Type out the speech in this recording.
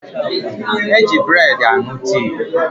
Eji breedi aṅụ tii